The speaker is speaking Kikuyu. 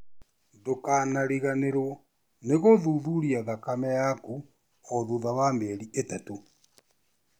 Ndũkariganĩrũo nĩ gũthuthuria thakame yaku o thutha wa mĩeri ĩtatũ.